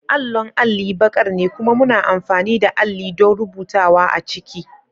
Allon alli baƙar ne kuma muna amfani da alli don rubutawa a ciki.